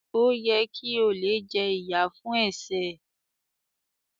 O yẹ ki olè jẹ ìyà fún ẹsẹ ẹ.